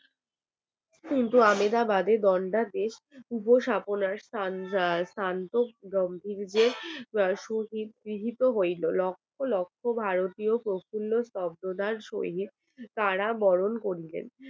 শুভ গম্ভীর্য শহীদ গৃহীত হয়ে রইল লক্ষ লক্ষ ভারতীয় শব্দ তার সহিত তারা বরণ করিলেন।